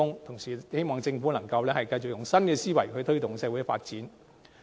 同時，希望政府能繼續以新思維來推動社會發展。